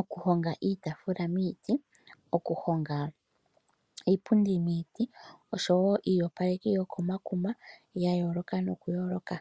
oku honga iitaafula miiti, oku honga iipundi miiti, oshowoo iiyopaleki yokomakuma yayooloka nokuyooloka.